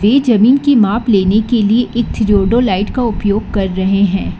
ये जमीन की माप लेने के लिए एक थियोडोलाइट का उपयोग कर रहे हैं।